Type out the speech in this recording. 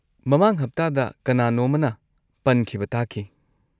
ꯃꯃꯥꯡ ꯍꯞꯇꯥꯗ ꯀꯅꯥꯅꯣꯝꯃꯅ ꯄꯟꯈꯤꯕ ꯇꯥꯈꯤ꯫